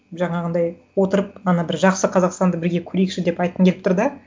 жаңағындай отырып ана бір жақсы қазақстанды бірге көрейікші деп айтқым келіп тұр да